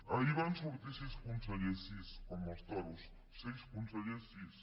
ahir van sortir sis consellers sis com els toros seis consellers sis